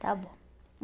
está bom.